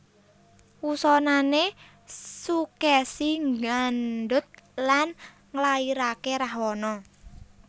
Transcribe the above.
Wusanané Sukèsi ngandhut lan nglairaké Rahwana